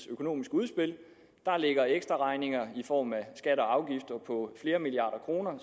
økonomiske udspil der ligger ekstraregninger i form af skatter og afgifter på flere milliarder kroner